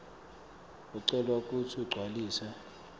ucelwa kutsi ugcwalise